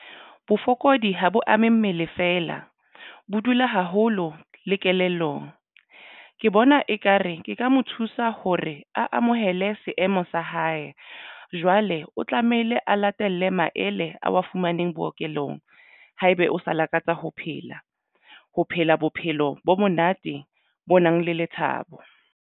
Bofokodi ha bo ame mmele feela bo dula haholo le kelellong. Ke bona ekare ke ka mo thusa hore a amohele seemo sa hae. Jwale o tlamehile a latele maele a wa fumaneng bookelong haebe o sa lakatsa ho phela ho phela bophelo bo monate bo nang le lethabo.